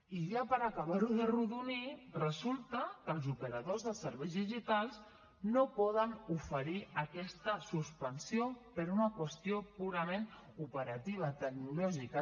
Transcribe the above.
i ja per acabar ho d’arrodonir resulta que els operadors de serveis digitals no poden oferir aquesta suspensió per una qüestió purament operativa tecnològica